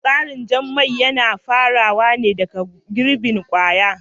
Tsarin yin jan mai yana farawa ne daga girbin kwaya